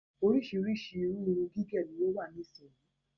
Oríṣríṣi irú irun gígẹ ni ó wà nísìyí.